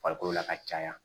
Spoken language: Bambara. Farikolo la ka caya